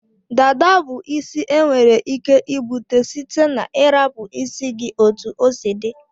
Dada bu isi enwere ike ibute site na irapu isi gi otu osi di.